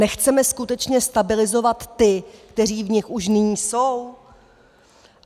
Nechceme skutečně stabilizovat ty, kteří v nich už nyní jsou?